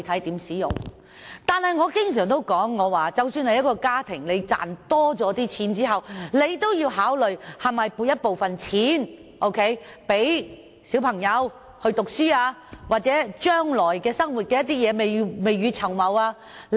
但是，我經常說，即使是一個家庭多賺了錢，也要考慮是否存下部分錢給小孩讀書或將來之用，要未雨綢繆。